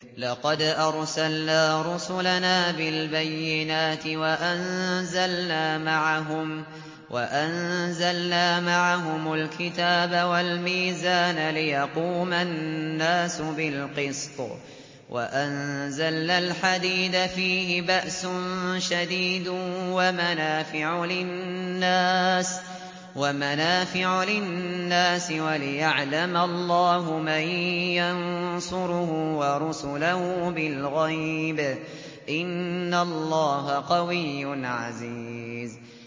لَقَدْ أَرْسَلْنَا رُسُلَنَا بِالْبَيِّنَاتِ وَأَنزَلْنَا مَعَهُمُ الْكِتَابَ وَالْمِيزَانَ لِيَقُومَ النَّاسُ بِالْقِسْطِ ۖ وَأَنزَلْنَا الْحَدِيدَ فِيهِ بَأْسٌ شَدِيدٌ وَمَنَافِعُ لِلنَّاسِ وَلِيَعْلَمَ اللَّهُ مَن يَنصُرُهُ وَرُسُلَهُ بِالْغَيْبِ ۚ إِنَّ اللَّهَ قَوِيٌّ عَزِيزٌ